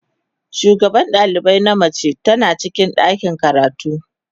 shugaban dalibai na mace tana cikin ɗakin karatu.